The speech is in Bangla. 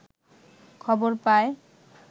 খবর পায়